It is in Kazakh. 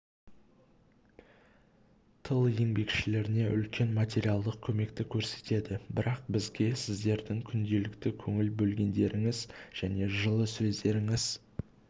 тыл еңбекшілеріне үлкен материалдық көмекті көрсетеді бірақ бізге сіздердің күнделікті көңіл бөлгендеріңіз және жылы сөздеріңіз